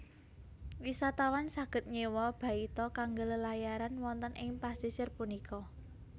Wisatawan saged nyéwa baita kanggé lelayaran wonten ing pasisir punika